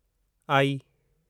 आई